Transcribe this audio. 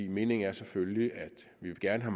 meningen er selvfølgelig at vi gerne